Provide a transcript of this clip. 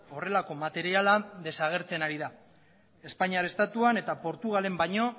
horrelako materiala desagertzen ari da espainiar estatuan eta portugalen baino